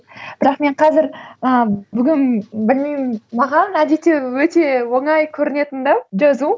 бірақ мен қазір ы бүгін білмеймін маған әдетте өте оңай көрінетін де жазу